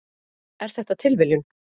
Er þetta tilviljun?